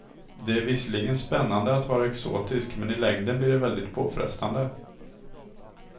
Det är visserligen spännande att vara exotisk, men i längden blir det väldigt påfrestande.